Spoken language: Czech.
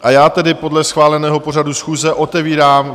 A já tedy podle schváleného pořadu schůze otevírám